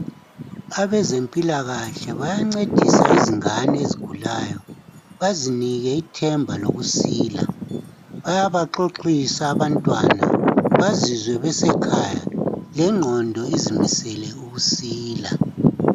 Abezempilakahle bayancedisa izingane ezigulayo bazinike ithemba lokusila. Bayabaxoxisa abantwana, bazizwe besekhaya lengqondo izimisele ukusila.